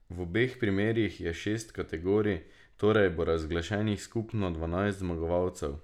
V obeh primerih je šest kategorij, torej bo razglašenih skupno dvanajst zmagovalcev.